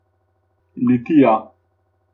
Litija.